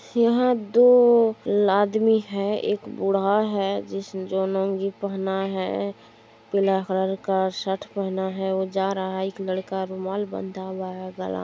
यहां दो आदमी है एक बुढा है जो जिसने पहेना है पीला कलर का शर्ट पहेना है जो जा रहा है एक आदमी रुमाल बंधा है गला में----